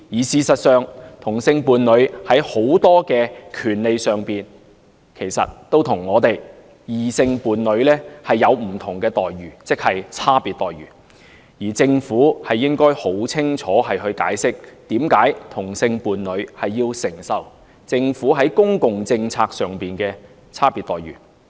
事實上，同性伴侶在諸多權利上都與異性伴侶有不同的待遇，即有差別待遇，而政府理應清晰地解釋，為何同性伴侶要承受政府在公共政策上的差別待遇。